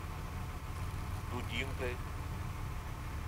дудинкой